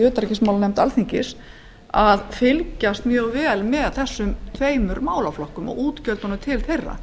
utanríkismálanefnd alþingis að hafa aðhald á framkvæmdarvaldinu og fylgjast með þessum tveimur málaflokkum og útgjöldunum til þeirra